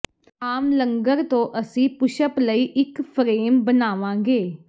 ਆਮ ਲੰਗਰ ਤੋਂ ਅਸੀਂ ਪੁਸ਼ਪ ਲਈ ਇੱਕ ਫਰੇਮ ਬਣਾਵਾਂਗੇ